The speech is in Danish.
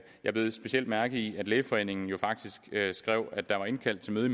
jeg bed specielt mærke i at lægeforeningen jo faktisk skrev at der var indkaldt til møde i